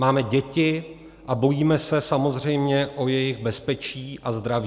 Máme děti a bojíme se samozřejmě o jejich bezpečí a zdraví.